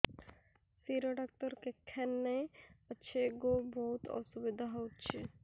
ଶିର doctor କେଖାନେ ଅଛେ ଗୋ ବହୁତ୍ ଅସୁବିଧା ହଉଚି